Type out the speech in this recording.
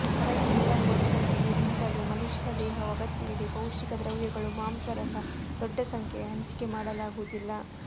ಕರಗಿ ನೀರಾಗುವ ಸಮಯದಲ್ಲಿ ರಿಂದಲೂ ಮನುಷ್ಯನ ದೇಹವು ಅಗತ್ಯವಿದೆ ಪೌಷ್ಟಿಕ ದ್ರವ್ಯಗಳು ಮಾಂಸ ರಸ ದೊಡ್ಡ ಸಂಖ್ಯೆಯ ಹಂಚಿಕೆ ಮಾಡಲಾಗುವುದಿಲ್ಲ